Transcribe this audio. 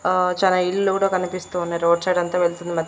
ఆ చానా ఇల్లు కూడా కనిపిస్తూ ఉన్నాయి రోడ్ సైడ్ అంతా వెళ్తుంది మా.